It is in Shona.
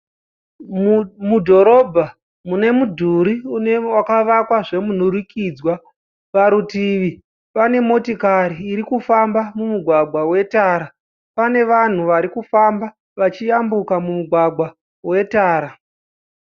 Mudhorobha mune midhuri yakawakwa zvemunhurikidzwa. Parutivi pane motokari iri kufamba mumugwagwa vetara. Pane vanhu varikufamba vachiyambuka mugwagwa vetara.